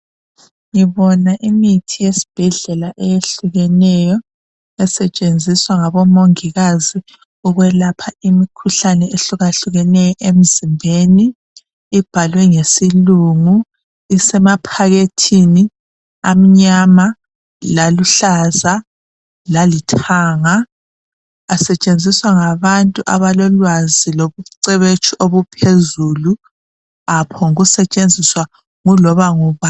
Ngibona imithi yesibhedlela eyehlukeneyo. Esetshenziswa ngabongikazi ukwelapha imikhuhlane ehlukahlukeneyo emzimbeni. Ibhalwe ngesilungu. lsemaphakethini amnyama, laluhlaza lalithanga. Asetshenziswa ngabantu abalolwazi, lobucwebetshi obuphezulu. Kawaphongusetshenziswa iloba ngubani.